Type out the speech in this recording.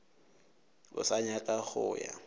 o sa nyaka go ya